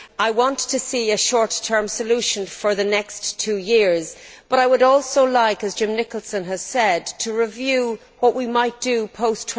I want to see a short term solution for the next two years but I would also like, as Jim Nicholson has said, to review what we might do post